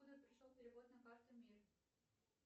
откуда пришел перевод на карту мир